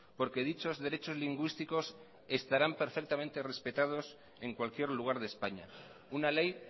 porque dichos derechos lingüísticos estarán perfectamente respetados en cualquier lugar de españa una ley